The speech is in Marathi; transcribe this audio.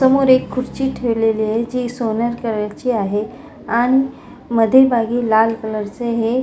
समोर एक खुर्ची ठेवलेली आहे जि सोनेरी कलर ची आहे आणि मधील भागी लाल कलर चे हे --